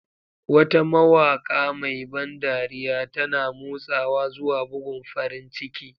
Wata mawaƙa mai ban dariya, tana motsawa zuwa bugun farin ciki.